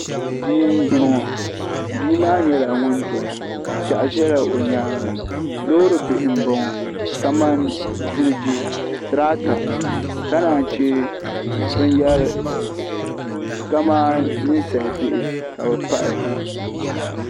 Bia m-bɔŋɔ bia maa nyɛla ŋun doya piɛɣu ʒela o nyaaŋa loori bihi m-bɔŋɔ kamani ziliji tirata ka naan che binyɛra kamani ninsalibihi ka bɛ pahi.